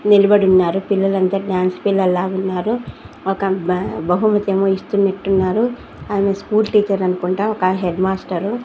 నిలబడున్నారు పిల్లలంతా డాన్స్ పిల్లల్లా వున్నారు ఒక బ బహుమతేమో ఇస్తునట్టున్నారు అమే స్కూల్ టీచర్ అనుకుంటా ఒక హెడ్మాస్టరు --